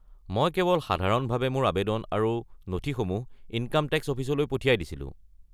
মই কেৱল সাধাৰণভাৱে মোৰ আৱেদন আৰু নথিসমূহ ইনকাম টেক্স অফিচলৈ পঠিয়াই দিছিলো।